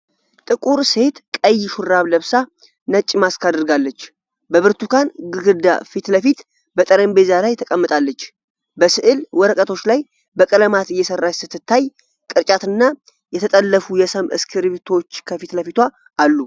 ጥቁር ሴት ቀይ ሹራብ ለብሳ ነጭ ማስክ አድርጋለች። በብርቱካን ግድግዳ ፊት ለፊት በጠረጴዛ ላይ ተቀምጣለች። በስዕል ወረቀቶች ላይ በቀለማት እየሠራች ስትታይ፣ ቅርጫትና የተጠለፉ የሰም እስክርቢቶዎች ከፊት ለፊቷ አሉ።